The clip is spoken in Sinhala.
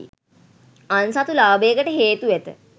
අන්සතු ලාභයකට හේතු ඇත.